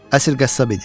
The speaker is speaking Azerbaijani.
Əsl qəssab idi.